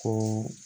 Ko